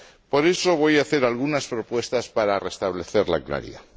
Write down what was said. Por eso, voy a hacer algunas propuestas para restablecer la claridad.